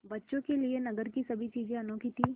बच्चों के लिए नगर की सभी चीज़ें अनोखी थीं